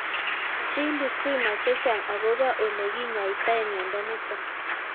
Chill yu sinai chechang' akopo ole kinyoitoi miondo nitok